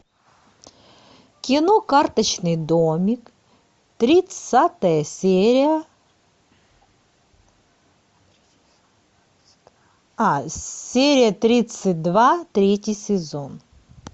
кино карточный домик тридцатая серия а серия тридцать два третий сезон